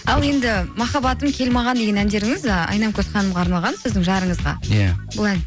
ал енді махаббатым кел маған деген әндеріңіз ы айнамкөз ханымға арналған сіздің жарыңызға иә бұл ән